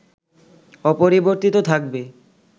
অপরিবর্তিত থাকবে